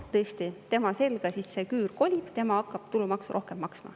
Tõesti, tema selga küür nüüd kolib, tema hakkab tulumaksu rohkem maksma.